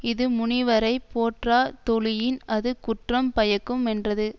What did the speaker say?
இது முனிவரைப் போற்றா தொழியின் அது குற்றம் பயக்கு மென்றது